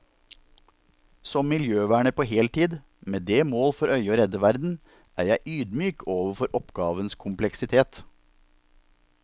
Som miljøverner på heltid, med det mål for øyet å redde verden, er jeg ydmyk overfor oppgavens kompleksitet.